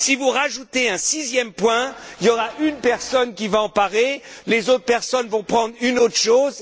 Si vous ajoutez un sixième point, il y aura une personne qui va en parler, les autres personnes vont prendre autre chose.